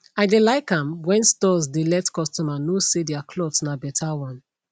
i dey like am when stores dey let customer know say their cloths na better one